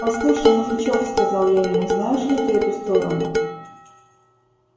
послушай мужичок сказал я ему знаешь ли ты эту сторону